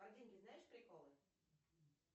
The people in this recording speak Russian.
про деньги знаешь приколы